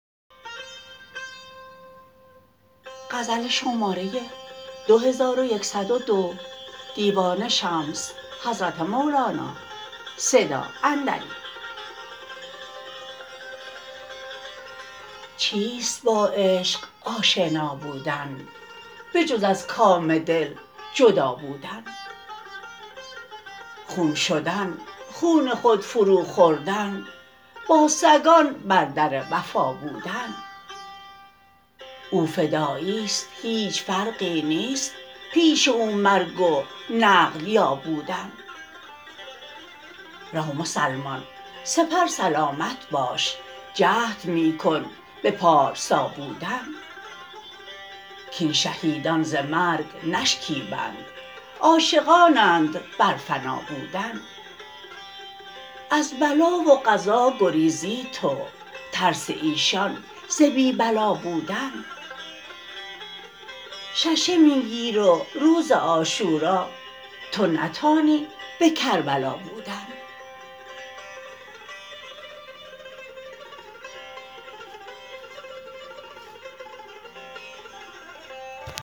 چیست با عشق آشنا بودن بجز از کام دل جدا بودن خون شدن خون خود فروخوردن با سگان بر در وفا بودن او فدایی است هیچ فرقی نیست پیش او مرگ و نقل یا بودن رو مسلمان سپر سلامت باش جهد می کن به پارسا بودن کاین شهیدان ز مرگ نشکیبند عاشقانند بر فنا بودن از بلا و قضا گریزی تو ترس ایشان ز بی بلا بودن ششه می گیر و روز عاشورا تو نتانی به کربلا بودن